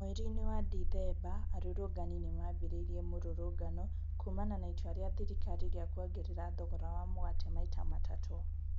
Mweri-inĩ wa Dithemba, arũrũngani nĩmambĩrĩirie mĩrũrũngano kũmana na itua rĩa thirikari rĩa kwongerera thogora wa mũgate maita matatũ.